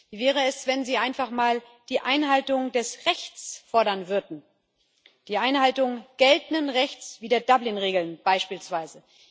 Wie wäre es, wenn Sie einfach mal die Einhaltung des Rechts fordern würden, die Einhaltung geltenden Rechts wie der Dublin Regeln beispielsweise?